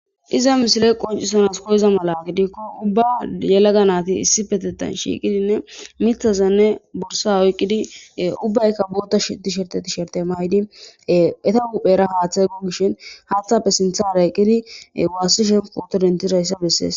Pizza misiley qonc'isana koyiza mala gidikoha ubba yelaga nayti issippetetan shiqidine mithazane borsaza oyqidi ubbayka boththa yisherte tisherte mayidi Etta huphoyara haththey gogishi haththape sinthera eqidi wasishe photo dendidaysa beses.